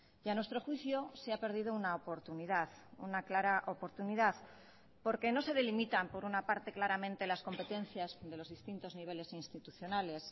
y a nuestro juicio se ha perdido una oportunidad una clara oportunidad porque no se delimitan por una parte claramente las competencias de los distintos niveles institucionales